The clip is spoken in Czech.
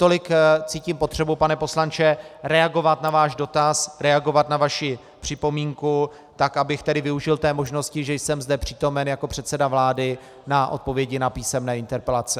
Tolik cítím potřebu, pane poslanče, reagovat na váš dotaz, reagovat na vaši připomínku, tak abych tedy využil té možnosti, že jsem zde přítomen jako předseda vlády na odpovědi na písemné interpelace.